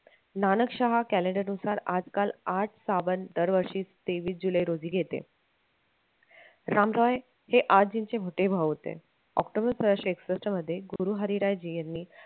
नाणकशाह नुसार आज काल आठ दरवर्षी तेवीस जुलै रोजी घेते राम रॉय हे मोठे भाऊ होते ऑक्टोबर सहाशे एकसष्ठ मध्ये गुरु हरीरायजी यांनी